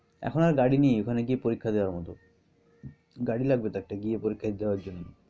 এখন আর গাড়ি নেই ওখানে গিয়ে পরীক্ষা দেওয়ার মত। গাড়ী লাগবে তো একটা গিয়ে পরীক্ষা দিতে হওয়ার জন্য।